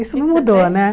Isso não mudou, né?